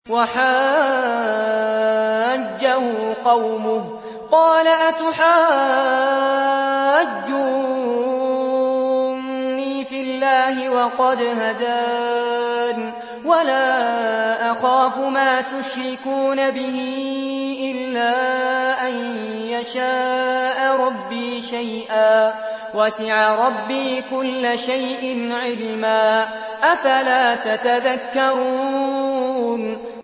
وَحَاجَّهُ قَوْمُهُ ۚ قَالَ أَتُحَاجُّونِّي فِي اللَّهِ وَقَدْ هَدَانِ ۚ وَلَا أَخَافُ مَا تُشْرِكُونَ بِهِ إِلَّا أَن يَشَاءَ رَبِّي شَيْئًا ۗ وَسِعَ رَبِّي كُلَّ شَيْءٍ عِلْمًا ۗ أَفَلَا تَتَذَكَّرُونَ